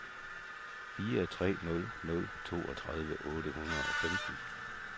fire tre nul nul toogtredive otte hundrede og femten